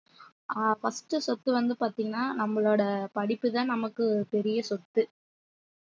ஆஹ் first சொத்து வந்து பார்த்தீங்கன்னா நம்மளோட படிப்புதான் நமக்கு பெரிய சொத்து